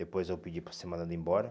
Depois eu pedi para ser mandado embora.